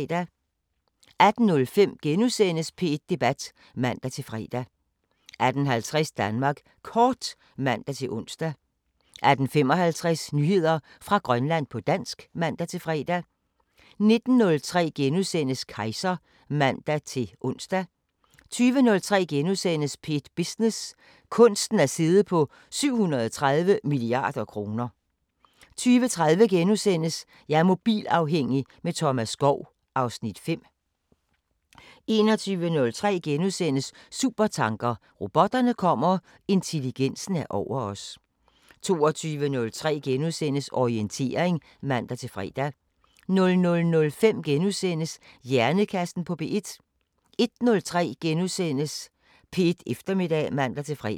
18:05: P1 Debat *(man-fre) 18:50: Danmark Kort (man-ons) 18:55: Nyheder fra Grønland på dansk (man-fre) 19:03: Kejser *(man-ons) 20:03: P1 Business: Kunsten at sidde på 730 mia. kr. * 20:30: Jeg er mobilafhængig – med Thomas Skov (Afs. 5)* 21:03: Supertanker: Robotterne kommer, intelligensen er over os * 22:03: Orientering *(man-fre) 00:05: Hjernekassen på P1 * 01:03: P1 Eftermiddag *(man-fre)